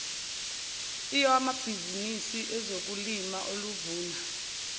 lwamabhizinisi ezokulima oluvuna